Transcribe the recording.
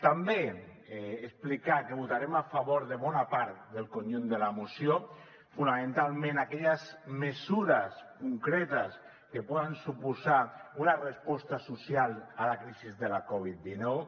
també explicar que votarem a favor de bona part del conjunt de la moció fonamentalment aquelles mesures concretes que poden suposar una resposta social a la crisi de la covid dinou